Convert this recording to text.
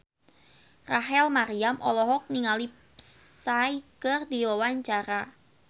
Rachel Maryam olohok ningali Psy keur diwawancara